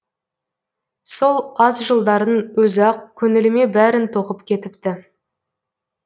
сол аз жылдардың өзі ақ көңіліме бәрін тоқып кетіпті